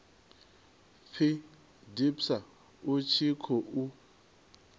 pfi dpsa u tshi khou